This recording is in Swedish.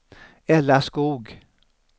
Ella Skoog